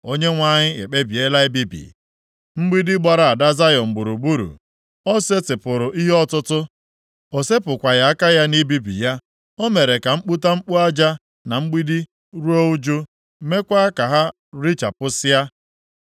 Onyenwe anyị ekpebiela ibibi mgbidi gbara ada Zayọn gburugburu. O setịpụrụ ihe ọtụtụ; o sepụkwaghị aka ya na ibibi ya. O mere ka mkputamkpu aja na mgbidi ruo ụjụ, meekwa ka ha richapụsịa.